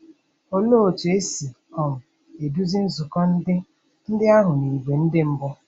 Olee otú e si um eduzi nzukọ ndị ndị ahụ n'ìgwè ndị mbụ?